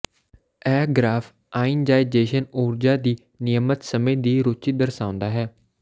ਇਹ graph ionisation ਊਰਜਾ ਦੀ ਨਿਯਮਤ ਸਮੇਂ ਦੀ ਰੁਚੀ ਦਰਸਾਉਂਦਾ ਹੈ